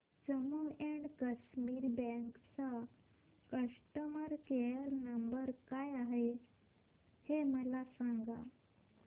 Jammu and Kashmir bank चा customer care number काय आहे हे मला सांगा